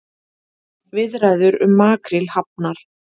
Viðræður um makríl hafnar